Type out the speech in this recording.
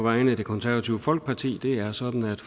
vegne af det konservative folkeparti det er sådan at